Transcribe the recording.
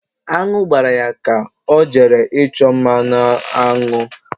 Aṅụ gbara ya ka ọ jere ịchọ mmanụ aṅụ.ri